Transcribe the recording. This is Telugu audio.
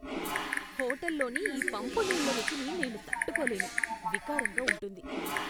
హోటల్లోని ఈ పంపు నీళ్ల రుచిని నేను తట్టుకోలేను, వికారంగా ఉంటుంది.